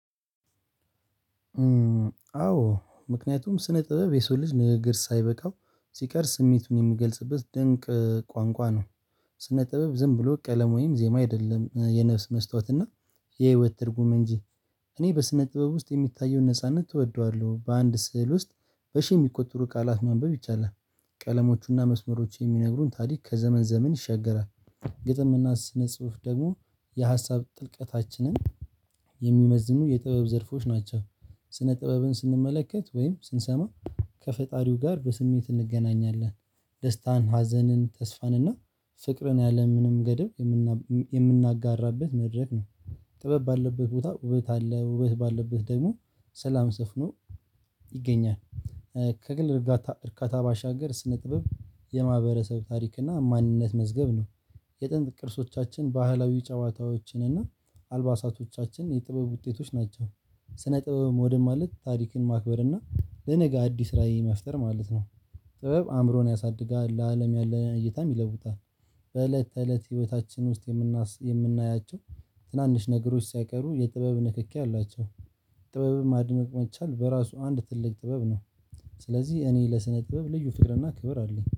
አዎ ምክንያቱም ስነ ጥበብ የሰው ልጅ ንግግር ሳይበቃው ሲቀር ስሜቱን የሚገልጽበት ድንቅ ቋንቋ ነው። ስነ ጥበብ ዝም ብሎ ቀለም ወይም ዜማ አይደለም የነፍስ መስታወት እና የህይወት ትርጉም እንጂ። እኔ በስነ ጥበብ ውስጥ የሚታየውን ነጻነት እወደዋለሁ በአንድ ስዕል ውስጥ በሺህ የሚቆጠሩ ቃላት ማንበብ ይቻላል። ቀለሞቹና መስመሮቹ የሚነግሩን ታሪክ ከዘመን ዘመን ይሻገራል። ግጥምና ስነ ጽሁፍ ደግሞ የሀሳብ ጥልቀታችንን የሚመዝኑ የጥበብ ዘርፎች ናቸው። ስነ ጥበብን ስንመለከት ወይም ስንሰማ ከፈጣሪው ጋር በስሜት እንገናኛለን። ደስታን ሀዘንን ተስፋን እና ፍቅርን ያለምንም ገደብ የምናጋራበት መድረክ ነው። ጥበብ ባለበት ቦታ ውበት አለ ውበት ባለበት ደግሞ ሰላም ስፍኖ ይገኛል። ከግል እርካታ ባሻገር ስነ ጥበብ የማህበረሰብ ታሪክ እና ማንነት መዝገብ ነው። የጥንት ቅርሶቻችን ባህላዊ ጨዋታዎችን እና አልባሳቶቻችን የጥበብ ውጤቶች ናቸው። ስነ ጥበብ መውደድ ማለት ታሪክን ማክበር እና ለነገ አዲስ ራዕይ መፍጠር ማለት ነው። ጥበብ አእምሮን ያሳድጋል ለአለም ያለ እይታም ይለውጣል። በእለት ተእለት ህይወታችን ውስጥ የምናያቸው ትናንሽ ነገሮች ሲያቀሩ የጥበብ ንክኪ አላቸው። ጥበብም አድምቅ መቻል በራሱ አንድ ትልቅ ጥበብ ነው። ስለዚህ እኔ ለስነ ጥበብ ልዩ ፍቅር እና ክብር አለኝ